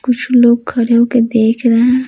कुछ लोग खड़े होकर देख रहे हैं।